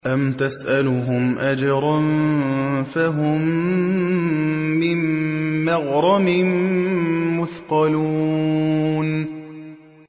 أَمْ تَسْأَلُهُمْ أَجْرًا فَهُم مِّن مَّغْرَمٍ مُّثْقَلُونَ